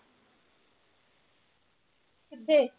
ਕਿੱਥੇ?